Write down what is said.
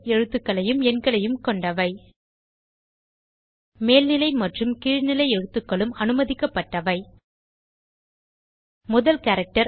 எழுத்துக்களையும் எண்களையும் கொண்டவை மேல்நிலை மற்றும் கீழ்நிலை எழுத்துகளும் அனுமதிக்கப்பட்டவை முதல் கேரக்டர்